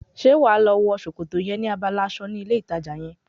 Ṣé wàá lọ wo sòkòtò yẹn ní abala aṣọ ní ilé ìtajà yẹn?